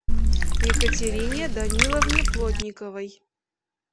екатерине даниловне плотниковой